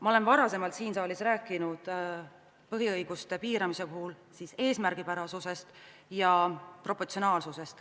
Ma olen varem siin saalis rääkinud põhiõiguste piiramise puhul eesmärgipärasusest ja proportsionaalsusest.